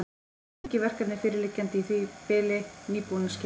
Engin verkefni fyrirliggjandi í því bili, nýbúinn að skila.